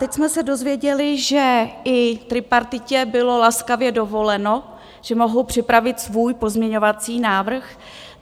Teď jsme se dozvěděli, že i tripartitě bylo laskavě dovoleno, že mohou připravit svůj pozměňovací návrh.